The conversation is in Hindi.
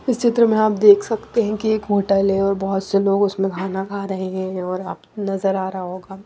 इस चित्र में आप देख सकते हैं कि एक होटल है और बहुत से लोग उसमें खाना खा रहे हैंऔर आप नजर आ रहा होगा।